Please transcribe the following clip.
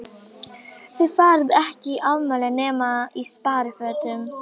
Þið farið ekki í afmæli nema í sparifötunum.